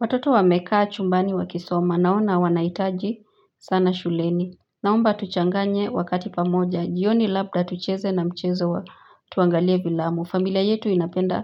Watoto wamekaa chumbani wakisoma naona wanahitaji sana shuleni. Naomba tuchanganye wakati pamoja jioni labda tucheze tuangalie filamu. Familia yetu inapenda